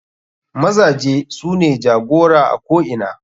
Mazaje sune jagora a ko ina.